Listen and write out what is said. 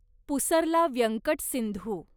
Pusarla Venkata Sindhu